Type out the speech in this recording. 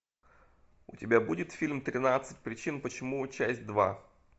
у тебя будет фильм тринадцать причин почему часть два